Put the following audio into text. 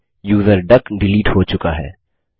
अब user duck delete हो चुका है